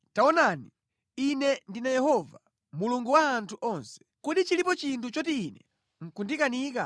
“Taonani, Ine ndine Yehova, Mulungu wa anthu onse. Kodi chilipo chinthu choti Ine nʼkundikanika?